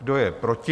Kdo je proti?